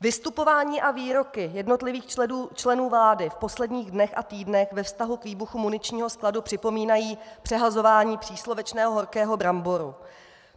Vystupování a výroky jednotlivých členů vlády v posledních dnech a týdnech ve vztahu k výbuchu muničního skladu připomínají přehazování příslovečného horkého bramboru.